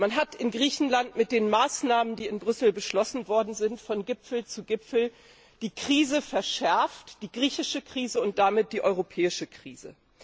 Man hat in Griechenland mit den Maßnahmen, die in Brüssel beschlossen worden sind, von Gipfel zu Gipfel die Krise verschärft die griechische Krise und damit die europäische Krise.